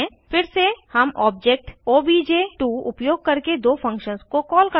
फिर से हम ऑब्जेक्ट ओबीजे2 उपयोग करके दो फंक्शन्स को कॉल करते हैं